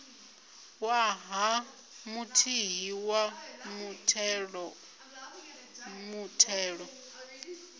ṅwaha muthihi wa muthelo muthelo